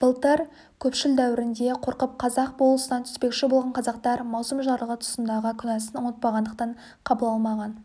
былтыр көпшіл дәуірінде қорқып қазақ болысына түспекші болған қазақтар маусым жарлығы тұсындағы күнәсын ұмытпағандықтан қабыл алмаған